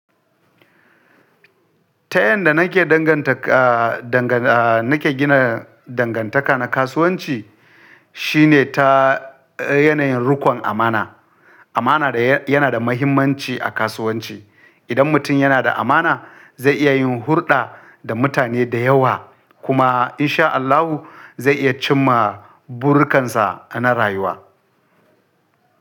Ta yanda nake danganta, danganta, nake gina dangantaka na kasuwanci shine ta yanayin rikon amana. Amana yana da muhimmanci a kasuwanci. Idan mutum yana da amana zai iya yin hulɗa da mutane da yawa kuma in sha Allahu zai iya cimma burikansa na rayuwa.